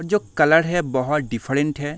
और जो कलर है बोहोत डिफरेंट है।